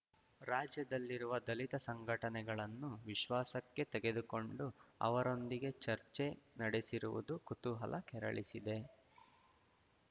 ರಾಜ್ಯದಲ್ಲಿರುವ ದಲಿತ ಸಂಘಟನೆಗಳನ್ನು ವಿಶ್ವಾಸಕ್ಕೆ ತೆಗೆದುಕೊಂಡು ಅವರೊಂದಿಗೆ ಚರ್ಚೆ ನಡೆಸಿರುವುದು ಕುತೂಹಲ ಕೆರಳಿಸಿದೆ